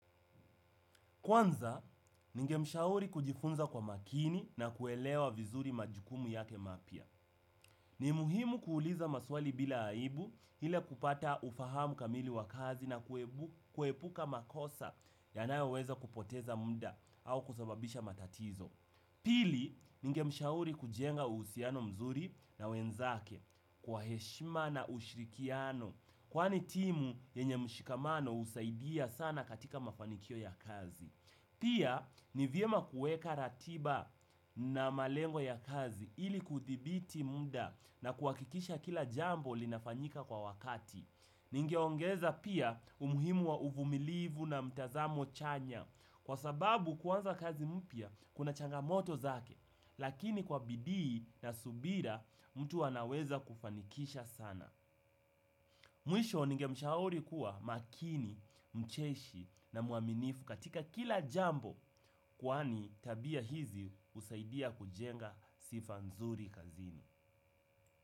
Kwanza, ningemshauri kujifunza kwa makini na kuelewa vizuri majukumu yake mapya. Ni muhimu kuuliza maswali bila aibu ili kupata ufahamu kamili wa kazi na kuepuka makosa yanayoweza kupoteza muda au kusababisha matatizo. Pili, ningemshauri kujenga uhusiano mzuri na wenzake kwa heshima na ushirikiano kwani timu yenye mshikamano husaidia sana katika mafanikio ya kazi. Pia ni vyema kuweka ratiba na malengo ya kazi ili kuthibiti muda na kuhakikisha kila jambo linafanyika kwa wakati. Ningeongeza pia umuhimu wa uvumilivu na mtazamo chanya kwa sababu kuanza kazi mpya kuna changamoto zake lakini kwa bidii na subira mtu anaweza kufanikisha sana. Mwisho ningemshauri kuwa makini, mcheshi na mwaminifu katika kila jambo kwani tabia hizi husaidia kujenga sifa nzuri kazini.